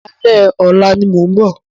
Alẹ́ ọ̀la ni mo ń bọ̀.